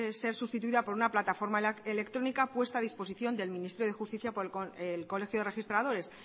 es ser sustituida por una plataforma electrónica puesta a disposición del ministerio de justicia por el colegio de registradores